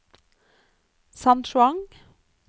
San Juan